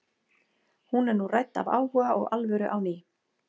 Hún er nú rædd af áhuga og alvöru á ný.